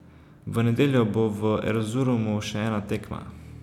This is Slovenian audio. V nedeljo bo v Erzurumu še ena tekma.